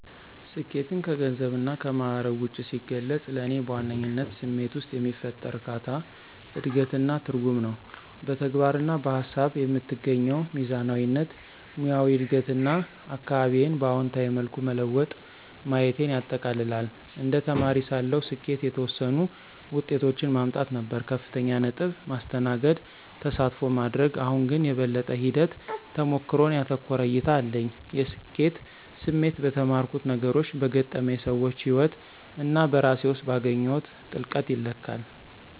ስኬትን ከገንዘብና ከማዕረግ ውጭ ሲገልጽ፣ ለእኔ በዋነኝነት ስሜት ውስጥ የሚፈጠር እርካታ፣ እድገት እና ትርጉም ነው። በተግባር እና በሃሳብ የምትገኘው ሚዛናዊነት፣ ሙያዊ እድገት እና አካባቢዬን በአዎንታዊ መልኩ መለወጥ ማየቴን ያጠቃልላል። እንደ ተማሪ ሳለሁ፣ ስኬት የተወሰኑ ውጤቶችን ማምጣት ነበር - ከፍተኛ ነጥብ፣ ማስተናገድ፣ ተሳትፎ ማድረግ። አሁን ግን፣ የበለጠ ሂደት-ተሞክሮን ያተኮረ እይታ አለኝ። የስኬት ስሜት በተማርኩት ነገሮች፣ በገጠመኝ ሰዎች ህይወት እና በራሴ ውስጥ ባገኘሁት ጥልቀት ይለካል።